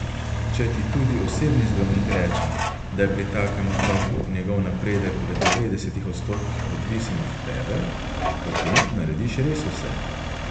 Če ti tudi osebni zdravnik reče, da je pri takem otroku njegov napredek v devetdesetih odstotkih odvisen od tebe, potem narediš res vse.